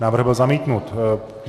Návrh byl zamítnut.